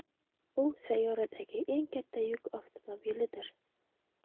U sayyoradagi eng katta yuk avtomobilidir.